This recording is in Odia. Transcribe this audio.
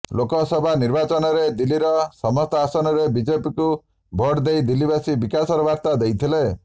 ଲୋକସଭା ନିର୍ବାଚନରେ ଦିଲ୍ଲୀର ସମସ୍ତ ଆସନରେ ବିଜେପିକୁ ଭୋଟଦେଇ ଦିଲ୍ଲୀବାସୀ ବିକାଶର ବାର୍ତ୍ତା ଦେଇଥିଲେ